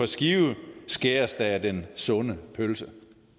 skive skæres af den sunde pølse